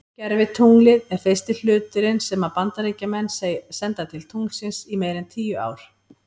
Gervitunglið er fyrsti hluturinn sem að Bandaríkjamenn senda til tunglsins í meira en tíu ár.